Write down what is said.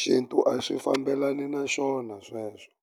xintu a swi fambelani na xona sweswo.